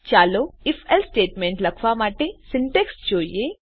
ચાલો if else statement લખવા માટેની સીન્ટેક્ષ જોઈએ